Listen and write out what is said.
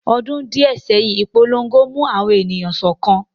Ọdún díẹ̀ sẹ́yìn, ìpolongo mú àwọn ènìyàn sọ́kan